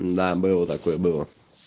да было такое было